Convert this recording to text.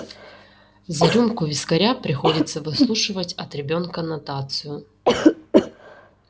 за рюмку вискаря приходится выслушивать от ребёнка нотацию